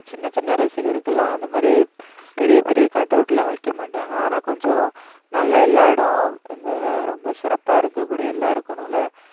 சின்ன சின்ன ரசிகருக்கெல்லாம் அந்த மாதிரி பெரிய பெரிய cutout லாம் வைக்க மாட்டாங்க. ஆனா கொஞ்சம் நல்ல எல்லா இடம் அந்த ரொம்ப சிறப்பா இருக்கக்கூடிய எல்லாருக்கும் நல்லா